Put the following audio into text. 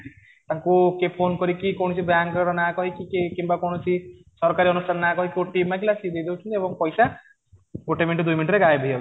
ତାକୁ କିଏ ଫୋନ କରିକି କୌଣସି ବ୍ୟାଙ୍କ ର ନାଁ କହିକି କିମ୍ବା କୌଣସି ସରକାରୀ ଅନୁଷ୍ଠାନ ନାଁ କହିକି OTP ମାଗିଲା କିଏ ଦେଇଦେଉଛନ୍ତି ଏବଂ ପଇସା ଗୋଟେ ମିନିଟ ଦୁଇ ମିନିଟ ରେ ଗାୟବ ହେଇଯାଉଛି